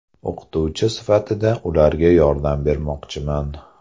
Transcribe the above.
O‘qituvchi sifatida ularga yordam bermoqchiman.